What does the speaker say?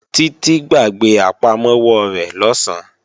Títí gbàgbé àpamọ́wọ́ rẹ̀ lọ̀sán